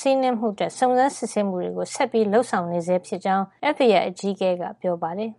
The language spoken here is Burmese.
စီးနင်းဝင်ရောက်မှုအတွက် စုံစမ်းစစ်ဆေးမှုတွေ ဆက်လက်လုပ်ဆောင်နေဆဲဖြစ်ကြောင်း FBI အကြီးအကဲ Christopher Wray က ပြောပါတယ်။